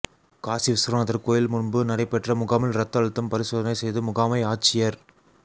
காசிவிஸ்வநாதா் கோயில் முன்பு நடைபெற்ற முகாமில் ரத்த அழுத்தம் பரிசோதனை செய்து முகாமை ஆட்சியா்